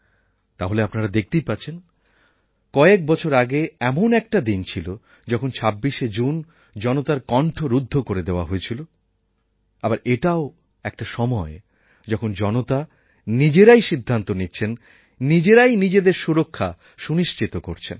তাহলে আপনারা দেখতেই পাচ্ছেন কয়েক বছর আগে এমন একটা দিন ছিল যখন ২৬শে জুন জনতার কন্ঠ রুদ্ধ করে দেওয়া হয়েছিল আবার এটাও একটা সময় যখন জনতা নিজেরাই সিদ্ধান্ত নিচ্ছেন নিজেরাই নিজেদের সুরক্ষা সুনিশ্চিত করছেন